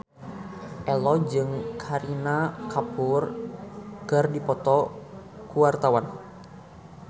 Ello jeung Kareena Kapoor keur dipoto ku wartawan